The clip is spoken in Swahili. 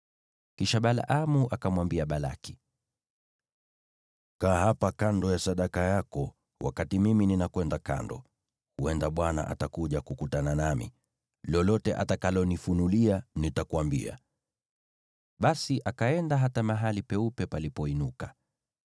Kisha Balaamu akamwambia Balaki, “Kaa hapa kando ya sadaka yako wakati mimi ninakwenda kando. Huenda Bwana atakuja kukutana nami. Lolote atakalonifunulia, nitakuambia.” Basi akaenda hata mahali peupe palipoinuka.